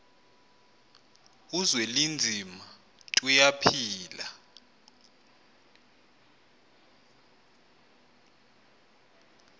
uzwelinzima tuya phila